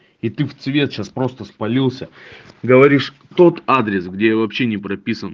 и ты в цвет сейчас просто спалился говоришь тот адрес где я вообще не прописан